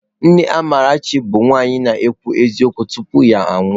Nne Amarachi bụ nwaanyị na-ekwu eziokwu tupu ya anwụọ.